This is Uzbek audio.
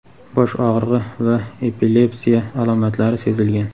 bosh og‘rig‘i va epilepsiya alomatlari sezilgan.